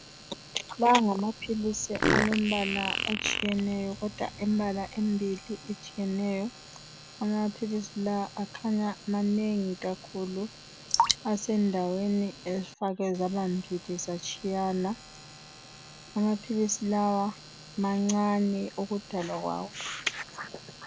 La ngamapilisi alombala otshiyeneyo. kodwa embala embili etshiyeneyo. Amapilisi la kukanya manengi kakhulu , esendaweni ezifakwe zaba mbili zatshiyana. Amapilisi lawa mancane ukudalwa kwawo.